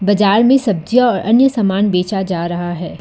बाजार में सब्जियां और अन्य समान बेचा जा रहा है।